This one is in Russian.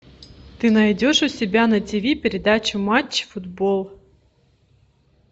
ты найдешь у себя на ти ви передачу матч футбол